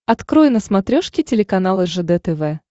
открой на смотрешке телеканал ржд тв